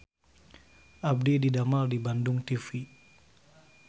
Abdi didamel di Bandung TV